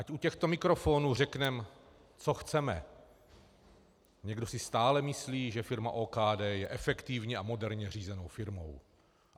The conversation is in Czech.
Ať u těchto mikrofonů řekneme, co chceme, někdo si stále myslí, že firma OKD je efektivní a moderně řízenou firmou.